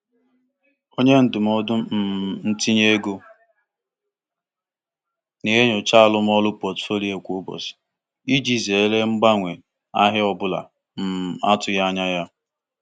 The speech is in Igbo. Ka ha nwetechara amamọkwa akụnụụba ahụ ndị ntinye ego na-enyocha mgbanwe ahịa nke ọma ka ha nwee ike gbanwee pọtụfoliyo um ha dịka o um si daba.